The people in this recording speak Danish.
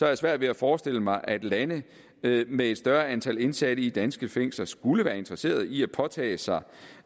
jeg svært ved at forestille mig at lande med et større antal indsatte i danske fængsler skulle være interesseret i at påtage sig